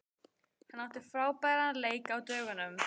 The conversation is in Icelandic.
Hann átti frábæran leik á dögunum.